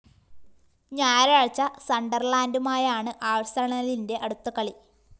ഞായറാഴ്ച സണ്ടര്‍ലാന്‍ഡുമായാണ് ആഴ്‌സണലിന്റെ അടുത്ത കളി